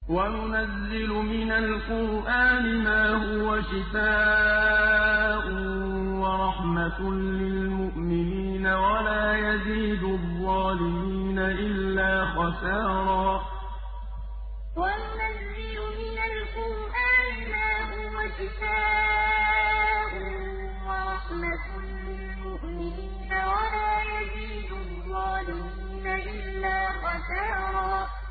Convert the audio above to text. وَنُنَزِّلُ مِنَ الْقُرْآنِ مَا هُوَ شِفَاءٌ وَرَحْمَةٌ لِّلْمُؤْمِنِينَ ۙ وَلَا يَزِيدُ الظَّالِمِينَ إِلَّا خَسَارًا وَنُنَزِّلُ مِنَ الْقُرْآنِ مَا هُوَ شِفَاءٌ وَرَحْمَةٌ لِّلْمُؤْمِنِينَ ۙ وَلَا يَزِيدُ الظَّالِمِينَ إِلَّا خَسَارًا